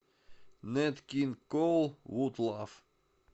нэт кинг коул вуд лав